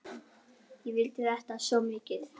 Ég vildi þetta svo mikið.